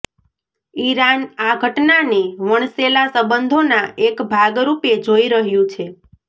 Iran આ ઘટનાને વણસેલા સંબંધોના એક ભાગ રૂપે જોઈ રહ્યું છે